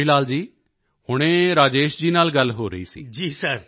ਤਾਂ ਕਿਸ਼ੋਰੀ ਲਾਲ ਜੀ ਹੁਣੇ ਰਾਜੇਸ਼ ਜੀ ਨਾਲ ਗੱਲ ਹੋ ਰਹੀ ਸੀ